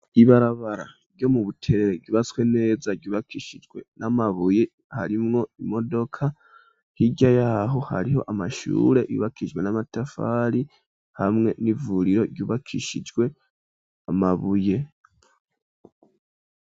Ibarabara ryo mu buterere, ryubatswe neza, ryubakishijwe n'amabuye harimwo imodoka hiryayaho hariho amashure yubakijwe n'amatafari ,hamwe n'ivuriro ryubakishijwe Amabuye.